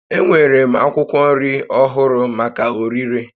Enwere m akwụkwọ nri ọhụrụ maka ọrịre